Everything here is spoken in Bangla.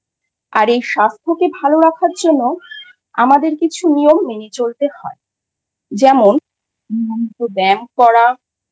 আর এই স্বাস্থ্যকে ভাল রাখার জন্য আমাদের কিছু নিয়ম মেনে চলতে হয়। যেমন নিয়মিত ব্যায়াম করা,